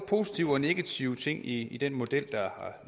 positive og negative ting i den model der